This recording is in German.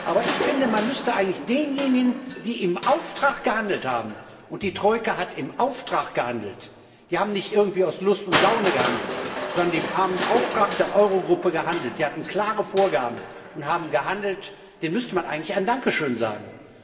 Aber ich finde, man müsste eigentlich denjenigen, die im Auftrag gehandelt haben und die Troika hat im Auftrag gehandelt, die haben nicht irgendwie aus Lust und Laune gehandelt, sondern sie haben im Auftrag der Eurogruppe gehandelt, sie hatten klare Vorgaben und haben gehandelt ein Dankeschön sagen.